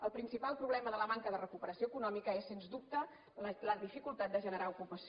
el principal problema de la manca de recuperació econòmica és sens dubte la dificultat de generar ocupació